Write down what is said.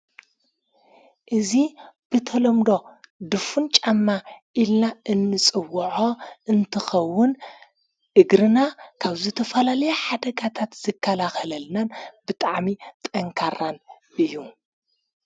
እዙ ብተሎምዶ ድፉን ጫማ ኢልና እንጽውዖ እንትኸውን እግርና ካብ ዘተፈላልያ ሓደጋታት ዝካላኸለልናን ብጠዕሚ ጠንካራን እዩ::